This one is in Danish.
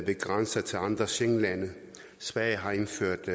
ved grænser til andre schengenlande sverige har indført